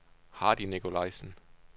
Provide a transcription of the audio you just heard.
Hardy Nicolajsen